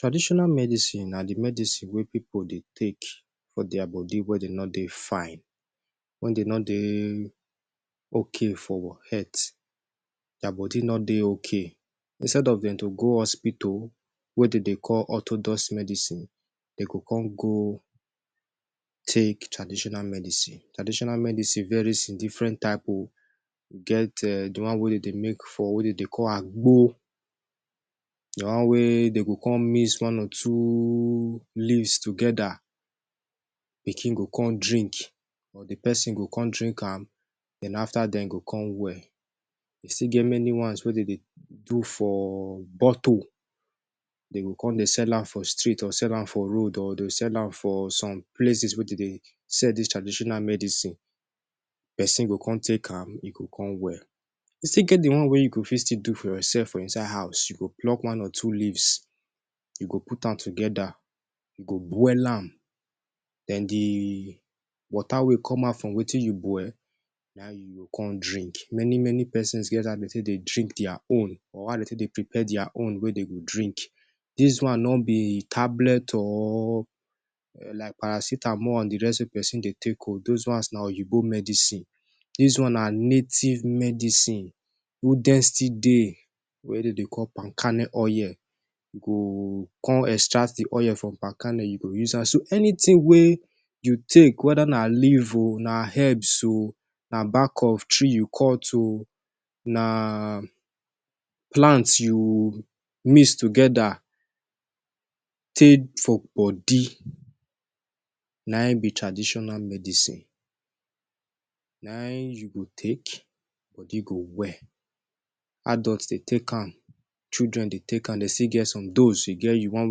Traditional medicine na di medicine wey pipu dey take for dia body wen dey no dey fine wen dem no dey okay for head dia body no dey okay instead of go hospital wey dem dey call othodox medicine dey go come go take traditional medicine. traditional medicine varies in diffren type o we get di one wey dem dey make for wey dem dey call agbo na one wey dem go come mix one or two leaves togeda, pikin go come drink or di pesin go come drink am den after den e go come well. you still get many ones wey dey dey do for bottle dey go come de sell am for street or sell am for road or dey go sell am for some places wey dey dey sell dis traditional medicine. Pesin go come take am, you go come well. We still get di one wey you go fit still do for yoursef for inside house you go pluck one or two leaves e go put am togeda you go boil am den di water wey come out from wetin you boil, na im you go come drink. many many pesins get as de take dey drink dia own or how de take dey prepare dia own wey dem go drink. dis one no be tablet or like paracetamol and di rest wey be say pesin dey take o those ones na oyinbo medicine dis one na native medicine who dey still dey wey dem dey call paln kernel oil, you come extract di oil from palm kernel you go use am so anytin wey you take weda na leaves o na herbs o na back of tree you cut o na plant u mix togeda come take for body, na im be traditional medicine. Na im you go take, body go well, adults dey take am, children de take am, dey still get some dose e get di one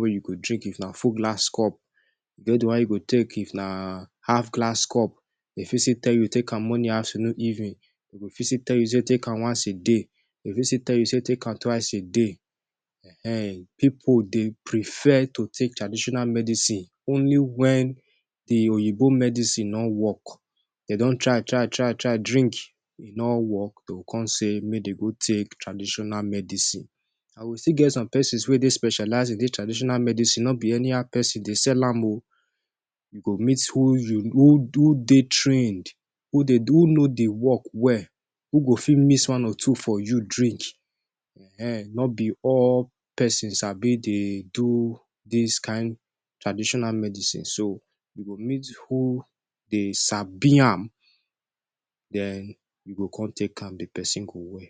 wey you go take if na full glass cup dem get get di one wey you go take if na half glass cup. Dem fit still tell you e get di one wey you go take morning afternoon evening, dem fit still tell you you go take am once a day. Dem fit still tell you take am twice a day. Wen, pipu dey prefer to take traditional medicine only wen di oyinbo medicine no wok dem don try try try drink e no wok, dey go come say make dem take traditional medicine. And we still get some pesin wey specialize for dis traditional medicine, nobi anyhow pesin dey sell am o. You go meet who de trained who know di wok well, who go fit mix one or two for you drink, ehen nobi all pesin sabi de do dis kain traditional medicine o. So, you go meet who sabi am den you go come take am make pesin go well.